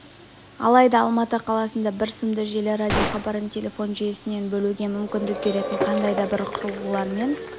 алайда алматы қаласында бір сымды желі радиохабарын телефон жүйесінен бөлуге мүмкіндік беретін қандай да бір құрылғылармен